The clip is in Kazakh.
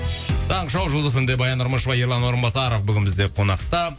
таңғы шоу жұлдыз фм де баян нұрмышева ерлан орынбасаров бүгін бізде қонақта